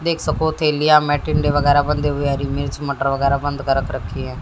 टिंडे वगैरह बंधे हुए हैं हरी मिर्च मटर वगैरह बंद कर रख रखी हैं।